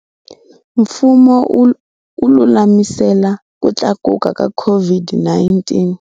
Mfumo wu lulamisela ku tlakuka ka COVID-19.